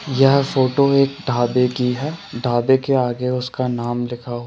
यह फोटो एक ढाबे की है। ढाबे के आगे उसका नाम लिखा हुआ--